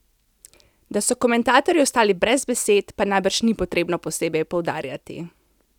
Da so komentatorji ostali brez besed, pa najbrž ni treba posebej poudarjati.